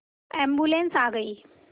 ambulance आ गई